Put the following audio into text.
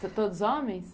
São todos homens?